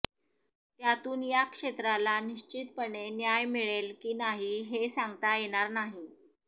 त्यातून या क्षेत्राला निश्चितपणे न्याय मिळेल की नाही हे सांगता येणार नाही